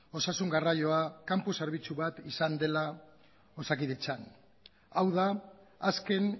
osasun garraioa kanpo zerbitzu bat izan dela osakidetzan hau da azken